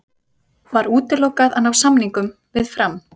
Var útilokað að ná samningum við Fram?